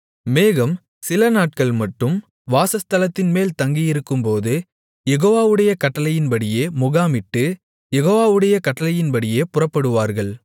மேகம் சிலநாட்கள் மட்டும் வாசஸ்தலத்தின்மேல் தங்கியிருக்கும்போது யெகோவாவுடைய கட்டளையின்படியே முகாமிட்டு யெகோவாவுடைய கட்டளையின்படியே புறப்படுவார்கள்